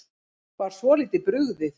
Var svolítið brugðið